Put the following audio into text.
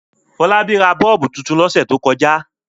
Fọlábí tra bọ́ọ́bú tuntun lọ́sẹ̀ tó kọjá.